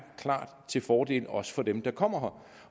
til fordel også for dem der kommer